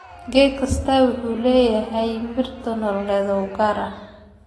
Geed kastaa wuxuu leeyahay meerto nololeed oo u gaar ah.